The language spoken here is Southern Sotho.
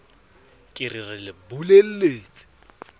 ke re re le bolelletse